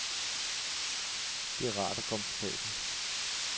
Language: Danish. Det er rart og komfortabelt.